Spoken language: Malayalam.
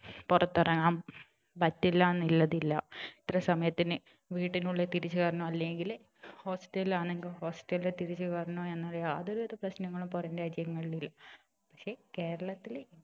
പുറത്തിറങ്ങാൻ പറ്റില്ലാന്നില്ലതില്ല ഇത്ര സമയത്തിനു വീടിനുള്ളിൽ തിരിച്ചു കയറണം അല്ലെങ്കില് hostel ലാണെങ്കിൽ hostel ൽ തിരിച്ചു കയറണം എന്ന യാതൊരു വിധ പ്രശ്നങ്ങളും പുറം രാജ്യങ്ങളിൽ ഇല്ല പക്ഷെ കേരളത്തില്